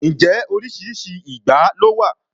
Ǹjẹ́ oríṣiríṣi ìgbá ló wà?